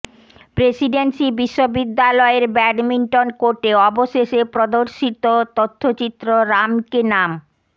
Presidency বিশ্ববিদ্যালয়ের badminton কোর্টে অবশেষে প্রদর্শিত তথ্যচিত্র রাম কে নাম